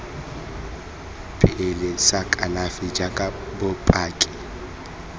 pele sa kalafi jaaka bopaki